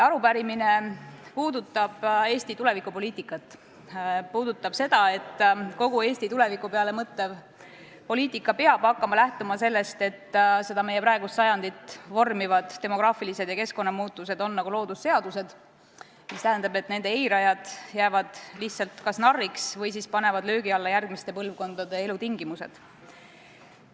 Arupärimine puudutab Eesti tulevikupoliitikat, puudutab seda, et Eesti tuleviku peale mõtlev poliitika peab hakkama lähtuma sellest, et meie praegust sajandit vormivad demograafilised ja keskkonnamuutused on nagu loodusseadused, mis tähendab, et nende eirajad jäävad lihtsalt narriks või panevad löögi alla järgmiste põlvkondade elutingimused.